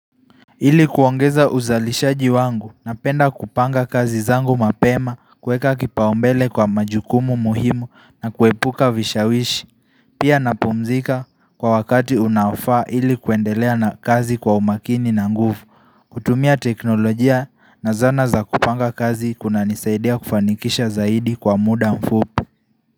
Hili kuongeza uzalishaji wangu na penda kupanga kazi zangu mapema kuweka kipaumbele kwa majukumu muhimu na kuepuka vishawishi Pia napumzika kwa wakati unaofaa ili kuendelea na kazi kwa umakini na nguvu kutumia teknolojia na zana za kupanga kazi kuna nisaidia kufanikisha zaidi kwa muda mfupi.